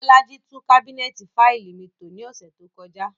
Bolaji tun kabinẹti faili mi to ni ọsẹ to kọja.